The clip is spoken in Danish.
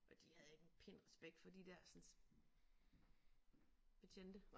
Og de havde ikke en pind respekt for de dersens betjente